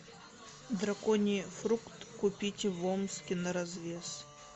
драконий фрукт купить в омске на развес